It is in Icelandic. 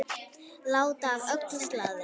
Láta af öllu slaðri.